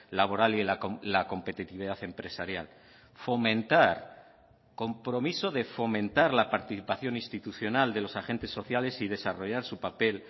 laboral y la competitividad empresarial fomentar compromiso de fomentar la participación institucional de los agentes sociales y desarrollar su papel